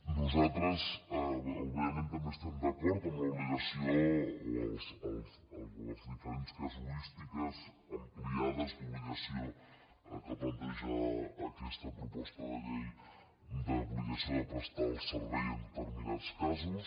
nosaltres òbviament també estem d’acord amb l’obligació o les diferents casuístiques ampliades d’obligació que planteja aquesta proposta de llei d’obligació de prestar el servei en determinats casos